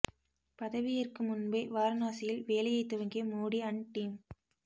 பதவி ஏற்கும் முன்பே வாரனாசியில் வேலையை துவங்கிய மோடி அன்ட் டீம்